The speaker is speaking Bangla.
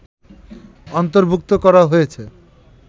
অন্তর্ভুক্ত করা হয়েছে